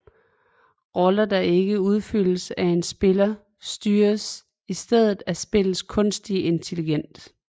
Roller der ikke udfyldes af en spiller styres i stedet af spillets kunstige intelligens